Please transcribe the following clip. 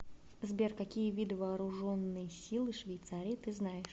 сбер какие виды вооруженные силы швейцарии ты знаешь